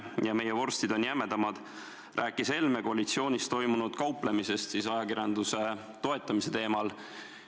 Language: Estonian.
Ja meie vorstid on jämedamad," rääkis Helme koalitsioonis toimunud kauplemisest ajakirjanduse toetamise teemal.